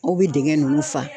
Aw bɛ dingɛ ninnu fa.